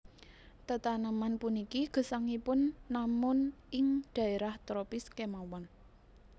Tetaneman puniki gesangipun namun ing dhaérah tropis kémawon